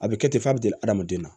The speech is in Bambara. A bɛ kɛ ten f'a bɛ deli hadamaden na